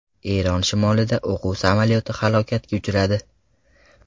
Eron shimolida o‘quv samolyoti halokatga uchradi.